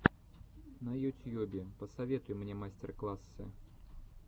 на ютьюбе посоветуй мне мастер классы